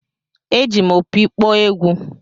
Eji m opi kpọọ egwú.